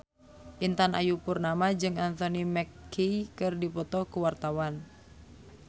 Intan Ayu Purnama jeung Anthony Mackie keur dipoto ku wartawan